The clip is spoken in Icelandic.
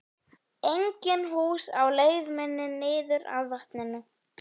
Engin hús á leið minni niður að vatninu.